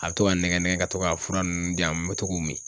A be to ka n nɛgɛn nɛgɛn ka to ka fura nunnu di yan, n be to k'u mi.